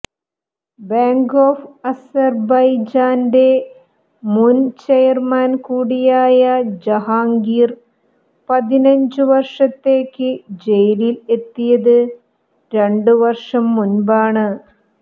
bank of അസർബൈജാന്റെ മുൻ chairman കൂടിയായ ജഹാംഗീർ പതിനഞ്ചു വർഷത്തേക്ക് ജയിലിൽ എത്തിയത് രണ്ടു വർഷം മുൻപാണ്